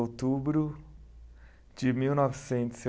outubro de mil novecentos